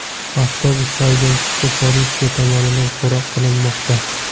Avtobus haydovchisi politsiya tomonidan so‘roq qilinmoqda.